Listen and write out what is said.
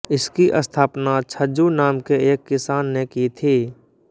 इसकी स्थापना छज्जु नाम के एक किसान ने की थी